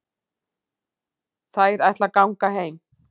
Þær ætla að ganga heim.